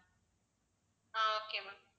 ah okay ma'am